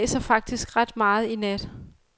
Det blæser faktisk ret meget i nat.